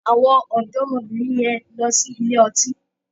Àwọn ọ̀dọ́mọbìnrin yẹn lọ sí ilé ọtí.